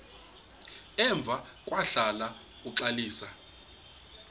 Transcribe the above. emva kwahlala uxalisa